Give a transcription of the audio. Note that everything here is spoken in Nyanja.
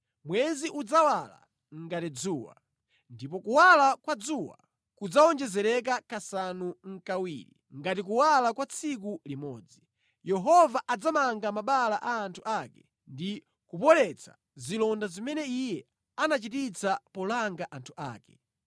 Mwezi udzawala ngati dzuwa, ndipo kuwala kwa dzuwa kudzawonjezereka kasanu nʼkawiri, ngati kuwala kwa tsiku limodzi. Yehova adzamanga mabala a anthu ake ndi kupoletsa zilonda zimene Iye anachititsa polanga anthu ake.